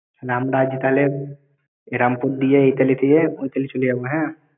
আমরা আজ তাহলে রামপুর দিয়ে এইতালি দিয়ে ওইতালি চলে যাব হ্যাঁ?